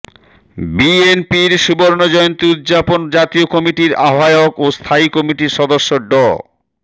বিএনপির সুবর্ণজয়ন্তী উদযাপন জাতীয় কমিটির আহ্বায়ক ও স্থায়ী কমিটির সদস্য ড